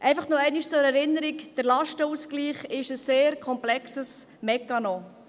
Einfach noch einmal zur Erinnerung: Der Lastenausgleich ist ein sehr komplexer Mechanismus.